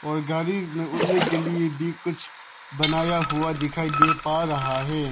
और गाड़ी में उड़ने के लिए भी कुछ बनाया हुआ दिखाई दे पा रहा है।